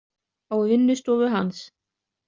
Á vinnustofu hans.